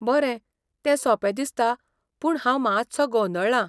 बरें, ते सोपें दिसता पूण हांव मात्सो गोंदळ्ळा.